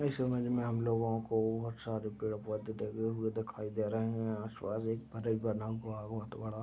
इस इमेज में हम लोगो को बहुत सारे पेड़ पौधे लगे हुए दिखाई दे रहे है। आसपास एक फर्श बना हुआ है बहुत बड़ा।